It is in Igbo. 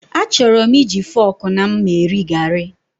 Achọrọ m iji fọọkụ na mma eri gari.